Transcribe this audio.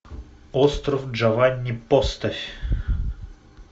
остров джованни поставь